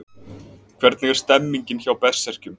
Hvernig er stemningin hjá Berserkjum?